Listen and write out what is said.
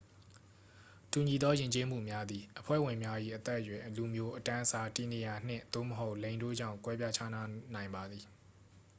တူညီသောယဉ်ကျေးမှုများသည် အဖွဲ့ဝင်များ၏ အသက်အရွယ်၊ လူမျိုး၊ အတန်းအစား၊ တည်နေရာ၊ နှင့်/သို့မဟုတ် လိင်တို့ကြောင့် ကွဲပြားခြားနားနိုင်ပါသည်။